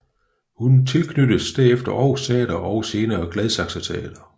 Hun tilknyttes derefter Aarhus Teater og senere Gladsaxe Teater